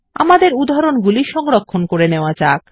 আমাদের উদাহরণ গুলি সংরক্ষণ করে নেওয়া যাক